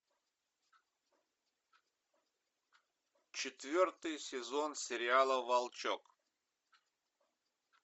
четвертый сезон сериала волчок